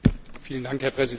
Herr Präsident!